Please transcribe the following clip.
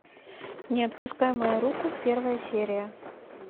не отпускай мою руку первая серия